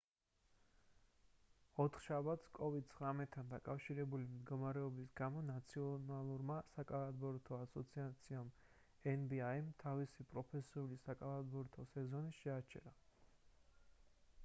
ოთხშაბათს covid-19-თან დაკავშირებული მდგომარეობის გამო ნაციონალურმა საკალათბურთო ასოციაციამ nba თავისი პროფესიული საკალათბურთო სეზონი შეაჩერა